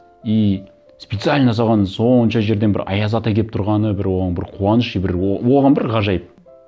и специально соған сонша жерден бір аяз ата келіп тұрғаны бір оған бір қуаныш и бір оған бір ғажайып